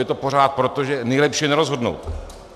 Je to pořád proto, že nejlepší je nerozhodnout.